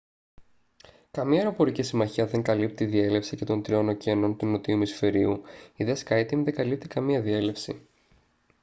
καμία αεροπορική συμμαχία δεν καλύπτει τη διέλευση και των τριών ωκεανών του νότιου ημισφαιρίου η δε skyteam δεν καλύπτει καμία διέλευση